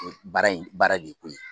Baara in baara de ye koyi.